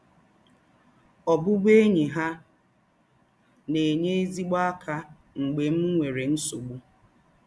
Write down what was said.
Ọ̀bụ̀bụ̀én̄yi hà na-ènye ézígbò ákà mgbè m nwèrè nsọ̀gbù